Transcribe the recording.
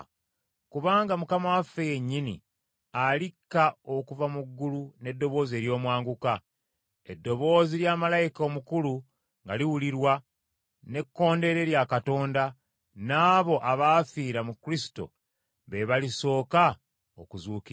Kubanga Mukama waffe yennyini alikka okuva mu ggulu n’eddoboozi ery’omwanguka, eddoboozi lya malayika omukulu nga liwulirwa, n’ekkondeere lya Katonda, n’abo abaafiira mu Kristo be balisooka okuzuukira,